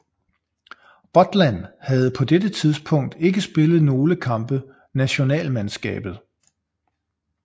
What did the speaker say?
Butland havde på dette tidspunkt ikke spillet nogle kampe nationalmandskabet